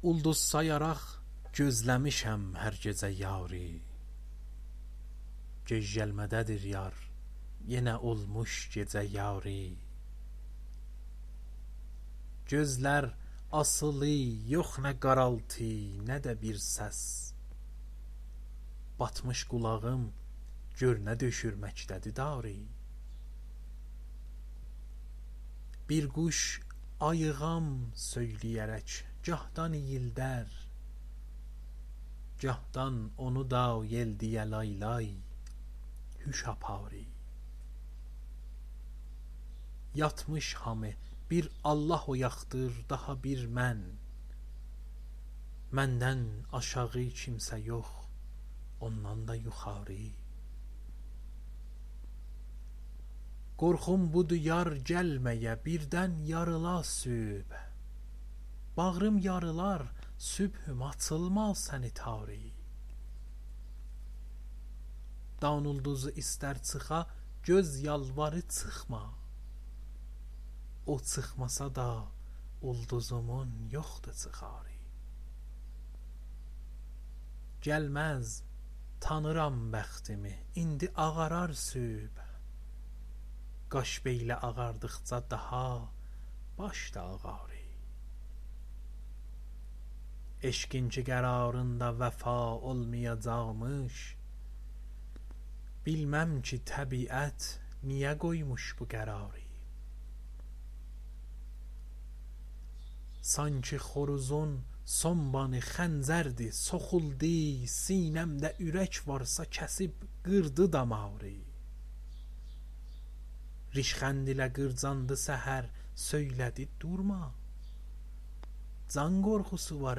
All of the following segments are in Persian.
اولدوز سایاراق گوزله میشم هر گیجه یاری گج گلمه ده دیر یار یینه اولموش گیجه یاری گؤزلر آسیلی یوخ نه قارالتی نه ده بیر سس باتمیش قولاغیم گؤرنه دؤشور مکده دی داری بیر قوش آییغام سویلیه رک گاهدان اییلده ر گاهدان اونودا ییل دییه لای-لای هوش آپاری یاتمیش هامی بیر آللاه اویاقدیر داها بیر من مندن آشاغی کیمسه یوخ اوندان دا یوخاری قورخوم بودی یار گلمه یه بیردن یاریلا صبح باغریم یاریلار صبحوم آچیلما سنی تاری دان اولدوزی ایسته ر چیخا گؤز یالواری چیخما او چیخماسادا اولدوزومون یوخدی چیخاری گلمز تانیرام بختیمی ایندی آغارار صبح قاش بیله آغاردیقجا داها باش دا آغاری عشقین کی قراریندا وفا اولمیاجاقمیش بیلمم کی طبیعت نیه قویموش بو قراری سانکی خوروزون سون بانی خنجردی سوخولدی سینه مده أورک وارسا کسیب قیردی داماری ریشخندله قیرجاندی سحر سویله دی دورما جان قورخوسی وار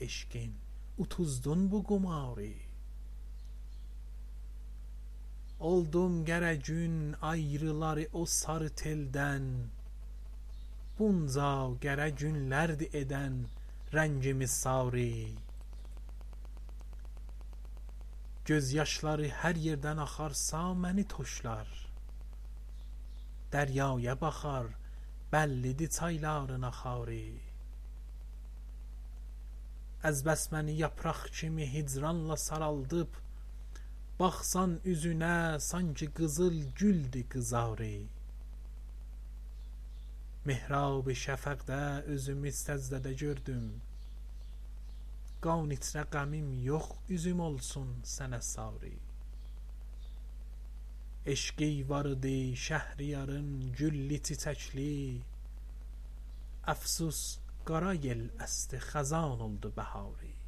عشقین اوتوزدون بو قماری اولدوم قره گون آیریلالی او ساری تیلدن بونجا قره گونلردی ایدن رنگیمی ساری گؤز یاشلاری هر ییردن آخارسا منی توشلار دریایه باخار بللی دی چایلارین آخاری از بس منی یاپراق کیمی هیجرانلا سارالدیب باخسان اوزونه سانکی قیزیل گولدی قیزاری محراب شفقده یوزومی سجده ده گؤردوم قان ایچره غمیم یوخ اوزوم اولسون سنه ساری عشقی واریدی شهریارین گللی- چیچکلی افسوس قارا یل اسدی خزان اولدی بهاری